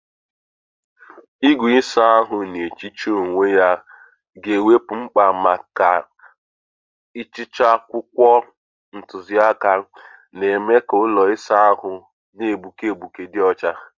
Igwe ịsa ahụ na-ehicha onwe ya ga-ewepụ mkpa maka ịchacha akwụkwọ ntuziaka, na-eme ka ụlọ ịsa ahụ na-egbuke egbuke dị ọcha.